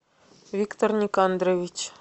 виктор никандрович